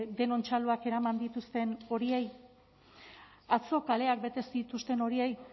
denon txaloak eraman dituzten horiei atzo kaleak bete ez dituzten horiei